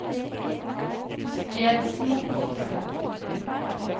Skedsmokorset